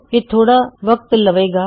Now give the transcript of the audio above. ਇਹ ਥੋੜਾ ਵਕਤ ਲਵੇਗਾ